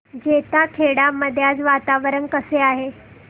जैताखेडा मध्ये आज वातावरण कसे आहे